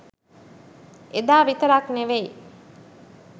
එදා විතරක් නෙවෙයි